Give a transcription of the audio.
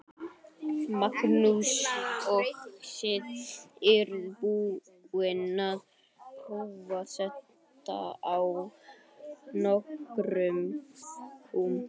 Magnús: Og þið eruð búin að prófa þetta á nokkrum kúm?